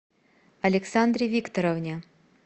александре викторовне